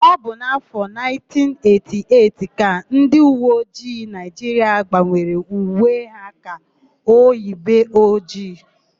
Ọ bụ n'áfọ̀ 1988 ka ndịuweojii Naịjiria gbanwere uwe ha ka ojibe ojii.